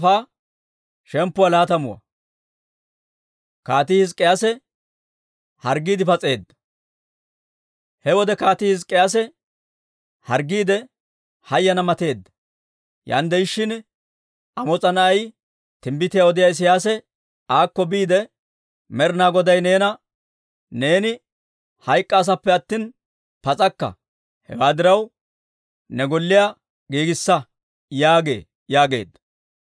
He wode Kaatii Hizk'k'iyaase harggiide, hayana mateedda. Yaan de'ishshin Amoos'a na'ay timbbitiyaa odiyaa Isiyaasi aakko biide, «Med'ina Goday neena, ‹Neeni hayk'k'aasappe attina pas'akka; hewaa diraw, ne golliyaa giigissa› yaagee» yaageedda.